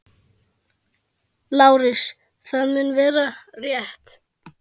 LÁRUS: Það mun vera- rétt.